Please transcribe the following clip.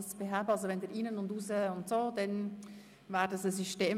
Wenn Sie Probleme haben, liegt es am Systemfehler und nicht an Ihnen.